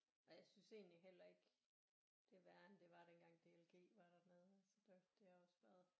Og jeg synes egentlig heller ikke det er værre end det var dengang D L G var dernede så det har også været